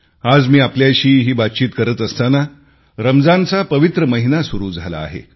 आज मी आपल्याशी ही बातचित करत असताना रमजानचा पवित्र महिना सुरू झाला आहे